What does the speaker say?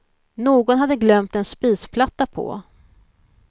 Någon hade glömt en spisplatta på.